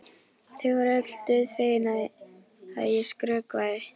Þau voru öll dauðfegin að ég skrökvaði.